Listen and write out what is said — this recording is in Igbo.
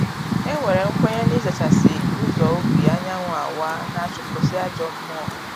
E nwere nkwenye na ịzachasị ụzọ ubi anyanwụ awaa, na-achụpụsị ajọ mmụọ